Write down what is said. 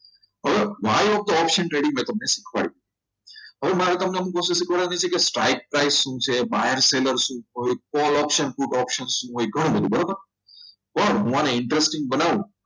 હવે buy હોય તો option trading મેં તમને શીખવાડી દીધું હવે મારે તમને શું શીખવાડવાનું છે stock price શું છે બાએર્સ સેલ્લેર્સ સુ છે pole option put option શું છે ગણું બધુ પણ હું અને interesting બનાવું